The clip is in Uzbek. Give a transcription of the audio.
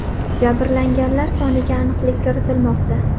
Jabrlanganlar soniga aniqlik kiritilmoqda.